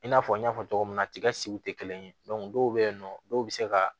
I n'a fɔ n y'a fɔ cogo min na tigɛsiw te kelen ye dɔw be yen nɔ dɔw be se ka